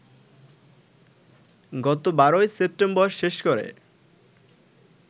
গত ১২ সেপ্টেম্বর শেষ করে